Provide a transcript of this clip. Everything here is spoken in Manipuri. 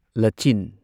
ꯂꯆꯤꯟ